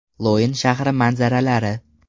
Loyan shahri manzaralari.